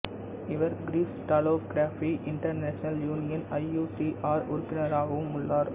இவர் crystallography international union I U C R உறுப்பினராகவும் உள்ளார்